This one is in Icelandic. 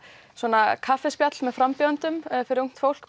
svona kaffispjall með frambjóðendum fyrir ungt fólk